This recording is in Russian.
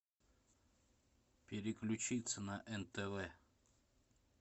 переключиться на нтв